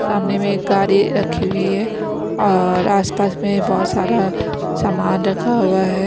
सामने में एक गाड़ी रखी हुई हैऔर आसपास में बहुत सारा सामान रखा हुआ है।